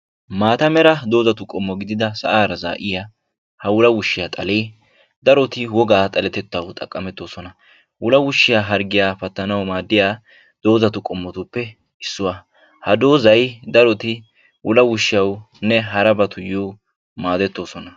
Maata mera doozatu qommo gidida sa'aara zaa'iya ha wulawushiya xalee daroti wogaa xaletetaw xaqametoosona; wulawushiya hargiya pattanaw maaddiya doozatu qommotuppe issuwa; Ha dooza daroti wulawushiyawunne harabatuyo maadetoosona.